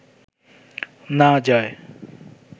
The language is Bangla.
না যায়